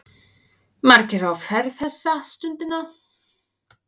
Margir á ferð þessa stundina.